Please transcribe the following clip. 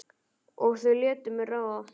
Og þau létu mig ráða.